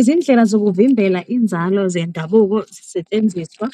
Izindlela zokuvimbela inzalo zendabuko zisetshenziswa